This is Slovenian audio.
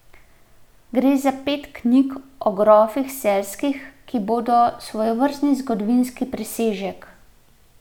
Gre za pet knjig o grofih Celjskih, ki bodo svojevrstni zgodovinski presežek.